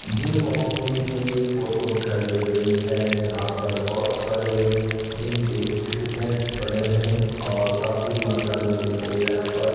gym opening की ये photo दिखाई दे रही है जहां पर बहुत सारे जिनके इक्विपमेंट पड़े हैं और काफी मात्रा में लोग यहां पर --